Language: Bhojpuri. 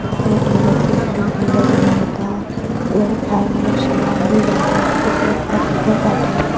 ई अपने बच्चों के लिए झूला झूलावता। इधर खाए वाला सामान भी बाटे। कुछ --